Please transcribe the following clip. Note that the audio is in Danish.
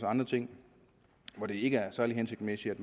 andre ting hvor det ikke er særlig hensigtsmæssigt at